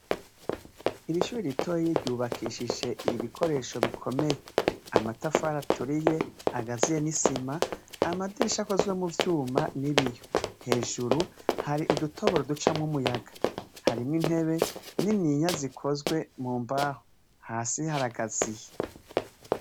Irishure ritoyi ryubakishije ibikoresho bikomeye .Amatafari aturiye, agazuye nisima ,amadirisha akozwe muvyumva n'ibiyo. Hejuru Hari udutoboro ducamwo umuyaga .Harimwo intebe niniya zikozwe mumahoro hasi haragaziye.